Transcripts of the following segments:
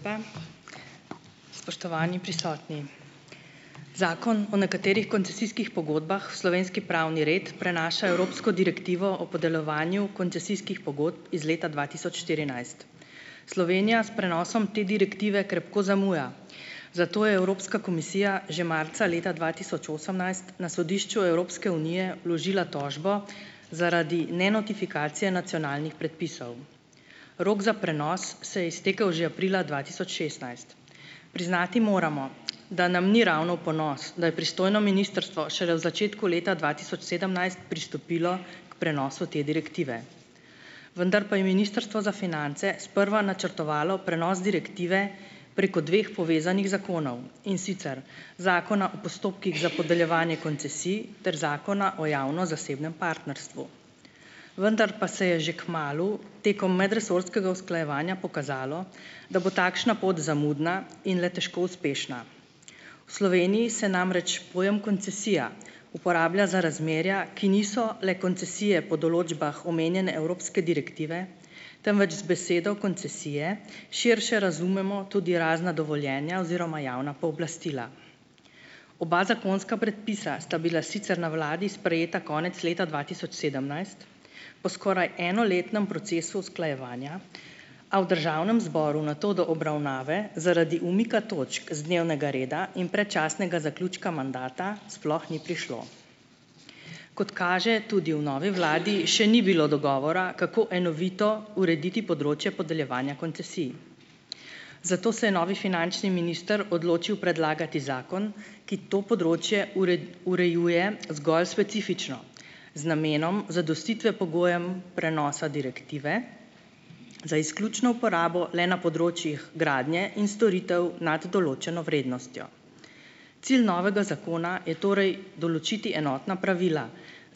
lepa. Spoštovani prisotni. Zakon o nekaterih koncesijskih pogodbah v slovenski pravni red prenaša evropsko direktivo o podeljevanju koncesijskih pogodb iz leta dva tisoč štirinajst. Slovenija s prenosom te direktive krepko zamuja, zato je Evropska komisija že marca leta dva tisoč osemnajst na sodišču Evropske unije vložila tožbo zaradi nenotifikacije nacionalnih predpisov. Rok za prenos se je iztekel že aprila dva tisoč šestnajst. Priznati moramo, da nam ni ravno v ponos, da je pristojno ministrstvo šele v začetku leta dva tisoč sedemnajst pristopilo k prenosu te direktive. Vendar pa je Ministrstvo za finance sprva načrtovalo prenos direktive preko dveh povezanih zakonov, in sicer Zakona o postopkih za podeljevanje koncesij ter Zakona o javno-zasebnem partnerstvu. Vendar pa se je že kmalu, tekom medresorskega usklajevanja, pokazalo, da bo takšna pot zamudna in le težko uspešna. V Sloveniji se namreč pojem koncesija uporablja za razmerja, ki niso le koncesije po določbah omenjene evropske direktive, temveč z besedo koncesije širše razumemo tudi razna dovoljenja oziroma javna pooblastila. Oba zakonska predpisa sta bila sicer na vladi sprejeta konec leta dva tisoč sedemnajst, po skoraj enoletnem procesu usklajevanja, a v državnem zboru nato do obravnave zaradi umika točk z dnevnega reda in predčasnega zaključka mandata sploh ni prišlo. Kot kaže, tudi v novi vladi še ni bilo dogovora, kako enovito urediti področje podeljevanja koncesij, zato se je novi finančni minister odločil predlagati zakon, ki to področje urejuje zgolj specifično, z namenom zadostitve pogojem prenosa direktive, za izključno uporabo le na področjih gradnje in storitev nad določeno vrednostjo. Cilj novega zakona je torej določiti enotna pravila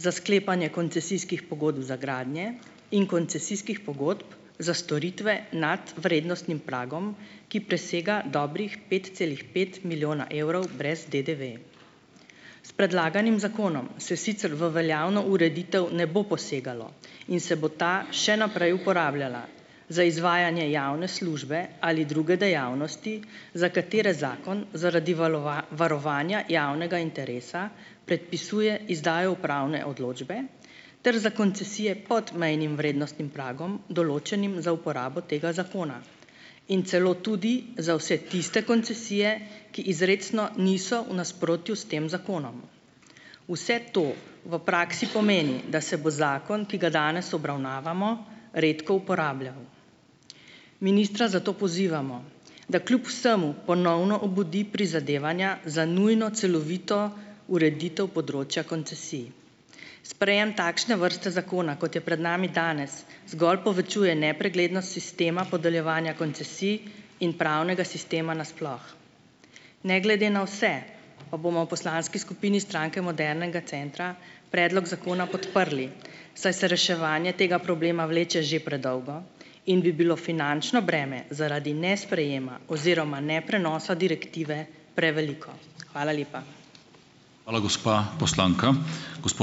za sklepanje koncesijskih pogodb za gradnje in koncesijskih pogodb za storitve nad vrednostnim pragom, ki presega dobrih pet celih pet milijona evrov brez DDV. S predlaganim zakonom se sicer v veljavno ureditev ne bo posegalo in se bo ta še naprej uporabljala za izvajanje javne službe ali druge dejavnosti, za katere zakon zaradi varovanja javnega interesa predpisuje izdajo upravne odločbe ter za koncesije pod mejnim vrednostnim pragom, določenim za uporabo tega zakona. In celo tudi za vse tiste koncesije, ki izrecno niso v nasprotju s tem zakonom. Vse to v praksi pomeni, da se bo zakon, ki ga danes obravnavamo, redko uporabljal. Ministra zato pozivamo, da kljub vsemu ponovno obudi prizadevanja za nujno celovito ureditev področja koncesij. Sprejem takšne vrste zakona, kot je pred nami danes, zgolj povečuje nepreglednost sistema podeljevanja koncesij in pravnega sistema na sploh. Ne glede na vse pa bomo v poslanski skupini Stranke modernega centra predlog zakona podprli, saj se reševanje tega problema vleče že predolgo in bi bilo finančno breme zaradi nesprejema oziroma neprenosa direktive preveliko. Hvala lepa. Hvala, gospa poslanka. Gospod ...